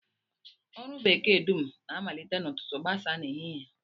Ọrụ bekee dum na-amalite n'ụtụtụ gbasaa n'ehihie